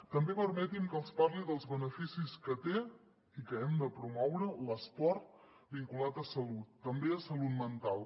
també permetin me que els parli dels beneficis que té i que hem de promoure l’esport vinculat a salut també a salut mental